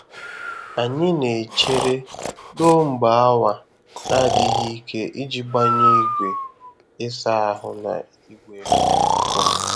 Anyị na-echere ruo mgbe awa na-adịghị ike iji gbanye igwe ịsa ahụ na igwe nkụ.